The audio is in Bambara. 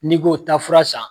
N'i ko taa fura san